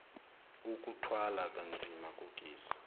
ukuthwala kanzima kogesi